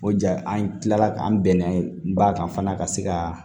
O ja an tilala k'an bɛn na ba kan fana ka se ka